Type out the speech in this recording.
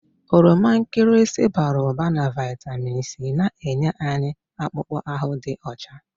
Oroma nkịrịsị bara ụba na vitamini C na-enye anyị akpụkpọ ahụ dị ọcha.